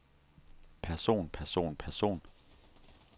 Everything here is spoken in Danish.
person person person